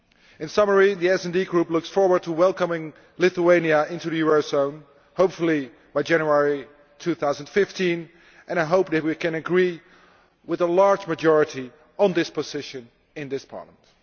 In summary, the SD Group looks forward to welcoming Lithuania into the eurozone, hopefully by January 2015, and I hope that we can agree by a large majority on this position in this Parliament.